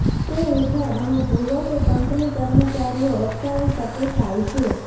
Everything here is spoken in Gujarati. તે હેઠળ અમે ભૂલો કે કંપની કર્મચારીઓ અટકાવી શકે થાય છે